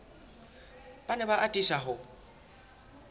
ba ne ba atisa ho